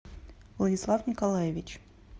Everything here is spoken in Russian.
владислав николаевич